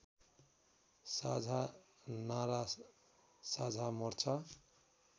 साझा नारा साझा मोर्चा